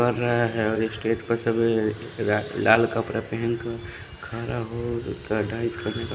कर रहे है और स्टेज पर सभी रा लाल कपड़ा पेहेन कर खड़ा हो--